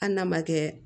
Hali n'a ma kɛ